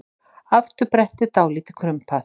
Afturbrettið dálítið krumpað.